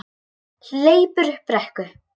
Hleypur upp brekku.